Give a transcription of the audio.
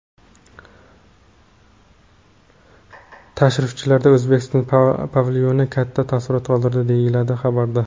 Tashrifchilarda O‘zbekiston pavilyoni katta taassurot qoldirdi, deyiladi xabarda.